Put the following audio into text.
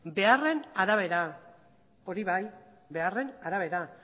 beharren arabera hori bai beharren arabera